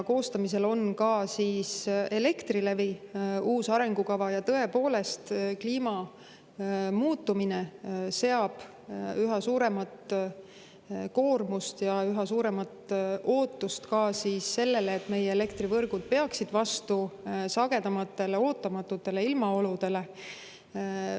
Koostamisel on Elektrilevi uus arengukava ja tõepoolest, kliima muutumine seab üha suuremat koormust ja üha suuremat ootust ka sellele, et meie elektrivõrgud peaksid vastu sagedamatele ootamatutele ilmaoludele.